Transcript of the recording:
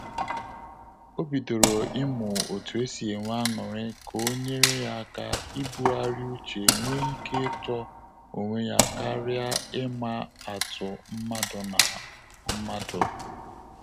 O bidoro ịmụ otu esi enwe aṅụrị ka o nyere ya aka ibughari uche nwe ike ịtọ onwe ya karia ịma atụ mmadụ na mmadụ